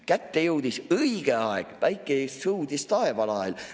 Kätte jõudis õige aeg, päike sõudis taevalael.